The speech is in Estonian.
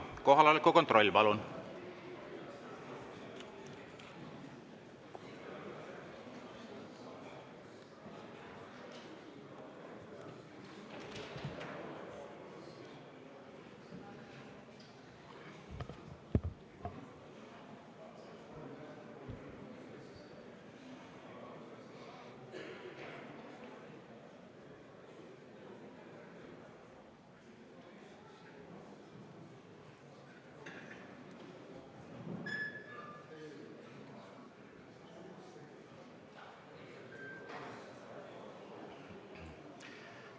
Kohaloleku kontroll, palun!